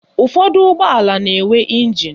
Ụfọdụ ụgbọala na-enwe ịnjin